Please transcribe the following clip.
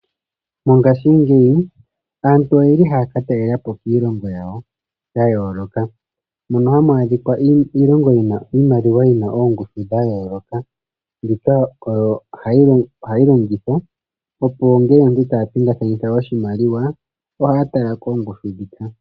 Mongaashingeyi aantu oyeli haya ka talelapo kiilongo ya yooloka . Mono hamu adhika iimaliwa yina oongushu dha yooloka. Mbika ohayi longithwa opo ngele aantu taya pingakanitha oshimaliwa ohaya tala koongushu ndhika.